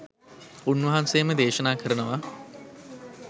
උන්වහන්සේම දේශනා කරනවා.